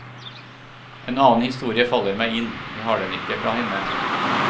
En annen historie faller meg inn, jeg har den ikke fra henne.